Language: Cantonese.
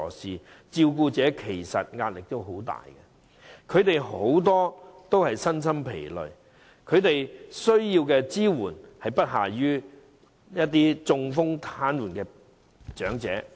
事實上，照顧者面對很大壓力，他們很多都身心疲累，而他們需要的支援實在不下於那些中風癱瘓的長者。